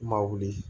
I ma wuli